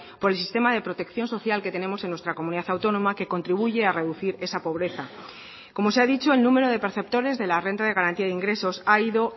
por el sistema de protección social que tenemos en nuestra comunidad autónoma que contribuye a reducir esa pobreza como se ha dicho el número de perceptores de la renta de garantía de ingresos ha ido